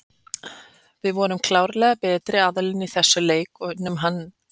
Við vorum klárlega betri aðilinn í þessum leik og unnum hann.